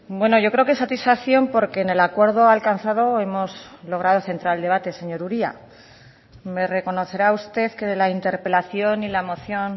bueno yo creo que satisfacción porque en el acuerdo alcanzado hemos logrado centrar el debate señor uria me reconocerá usted que de la interpelación y la moción